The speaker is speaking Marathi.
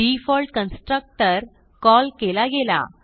डिफॉल्ट कन्स्ट्रक्टर कॉल केला गेला